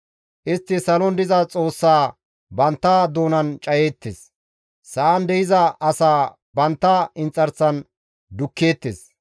Istti salon diza Xoossaa bantta doonan cayeettes; Sa7an de7iza asaa bantta inxarsan dukkeettes.